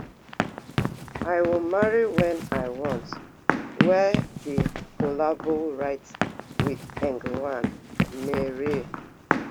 i will marry when i want wey bin collabo write wit